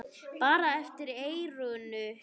Bara eftir eyranu.